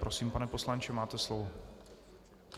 Prosím, pane poslanče, máte slovo.